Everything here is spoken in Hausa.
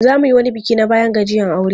Za mu yi wani biki na bayan gajiyan aure.